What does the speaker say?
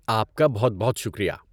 آپ کا بہت بہت شکریہ!